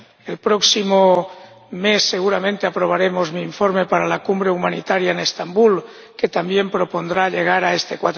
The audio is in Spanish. El próximo mes seguramente aprobaremos mi informe para la cumbre humanitaria en Estambul, que también propondrá llegar a este